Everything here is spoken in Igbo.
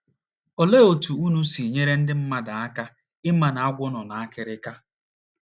Olee otú unu si nyere ndị mmadụ aka ịma na agwọ nọ n’akịrịka?